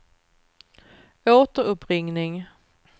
återuppringning